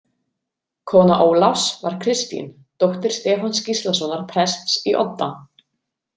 Kona Ólafs var Kristín, dóttir Stefáns Gíslasonar prests í Odda.